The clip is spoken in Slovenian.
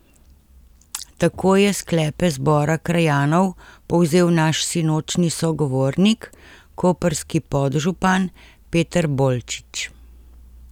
Tako je sklepe zbora krajanov povzel naš sinočnji sogovornik, koprski podžupan Peter Bolčič.